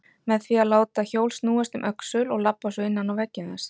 Með því að láta hjól snúast um öxul og labba svo innan á veggjum þess.